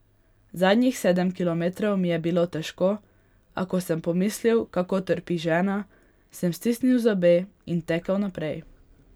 Zadnjih sedem kilometrov mi je bilo težko, a ko sem pomislil, kako trpi žena, sem stisnil zobe in tekel naprej.